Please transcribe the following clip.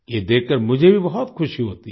ये देखकर मुझे भी बहुत ख़ुशी होती है